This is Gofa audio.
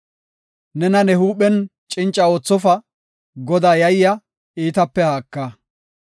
Nena ne huuphen cinca oothofa; Godaa yayya; iitape haaka.